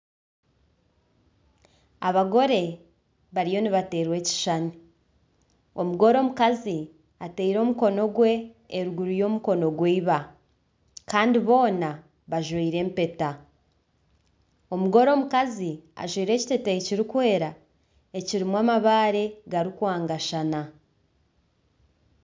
Abagore bariyo nibateerwa ekishushani. Omugore omukazi ataire omukono gwe eruguru y'omukono gwa iba kandi boona bajwaire empeta. Omugore omukazi ajwaire ekiteeteeyi kirikwera ekirimu amabaare garikwangashana.